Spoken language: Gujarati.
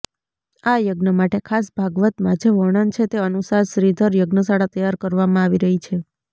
આયજ્ઞમાટે ખાસ ભાગવતમાં જે વર્ણન છે તે અનુસાર શ્રીધર યજ્ઞશાળા તૈયાર કરવામાં આવી રહી છે